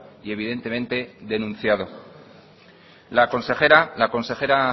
y evidentemente denunciado la consejera la consejera